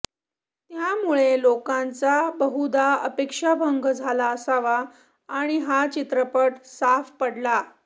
त्यामुळे लोकांचा बहुधा अपेक्षाभंग झाला असावा आणि हा चित्रपट साफ पडला